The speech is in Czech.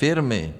Firmy.